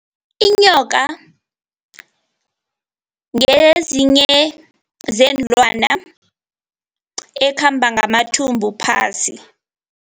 Inyoka ngezinye zeenlwane ekhamba ngamathumbu phasi.